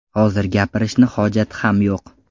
Hozir gapirishni hojati ham yo‘q.